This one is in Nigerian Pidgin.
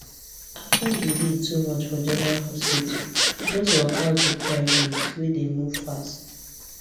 after delay too much for general hospital she just waka go private wey dey move fast